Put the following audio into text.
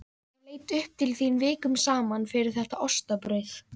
Ég leit upp til þín vikum saman fyrir þetta ostabrauð.